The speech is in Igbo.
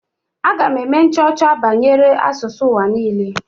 Aga m eme nchọcha banyere asụsụ ụwa niile.